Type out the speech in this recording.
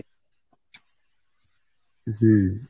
হুম।